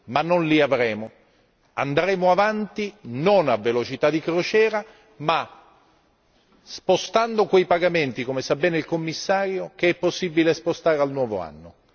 Ma non li avremo. Andremo avanti non a velocità di crociera, ma spostando quei pagamenti che, come ben sa il Commissario, è possibile spostare al nuovo anno.